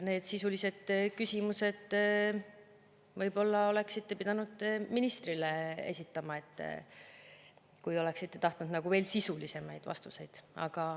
Need sisulised küsimused te oleksite võib-olla pidanud ministrile esitama, kui oleksite tahtnud veel sisulisemaid vastuseid.